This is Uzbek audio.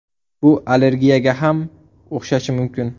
Bu allergiyaga ham o‘xshashi mumkin.